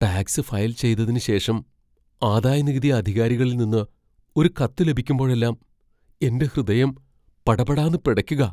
Tax file ചെയ്തതിന് ശേഷം ആദായനികുതി അധികാരികളിൽ നിന്ന് ഒരു കത്ത് ലഭിക്കുമ്പോഴെല്ലാം എന്റെ ഹൃദയം പടപടാന്ന് പിടയ്ക്കുകാ.